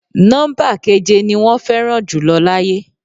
Nọ́ḿbà keje ni wọ́n fẹ́ràn jùlọ láyé.